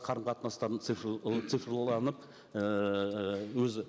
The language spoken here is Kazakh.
қарым қатынастарын ііі өзі